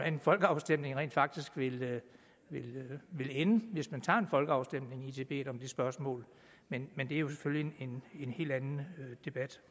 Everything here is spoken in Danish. en folkeafstemning rent faktisk ville ville ende hvis man tog en folkeafstemning i tibet om det spørgsmål men men det er jo selvfølgelig en helt anden debat